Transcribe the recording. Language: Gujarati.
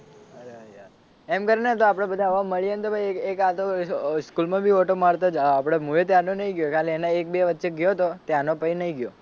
એમ કર ને તો આપડે બધા હવે મળીએ ને પછી એક આટો સ્કૂલ માં બી આટો મારતા આપડે મુ એ ત્યાર નો નહીં ગયો ખાલી એના એક બે વચ્ચે ગયો તો ત્યાર નો પછી નહીં ગયો.